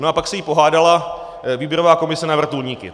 No a pak se jí pohádala výběrová komise na vrtulníky.